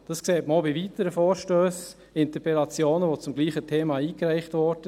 Das sieht man auch bei weiteren Vorstössen, Interpellationen, die zum selben Thema eingereicht wurden.